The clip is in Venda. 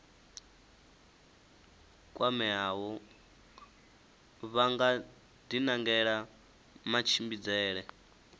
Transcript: kwameaho vha nga dinangela matshimbidzele